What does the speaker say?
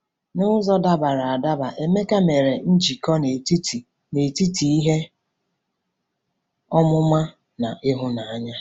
N'ụzọ dabara adaba, Emeka mere njikọ n'etiti n'etiti ihe ọmụma na ịhụnanya.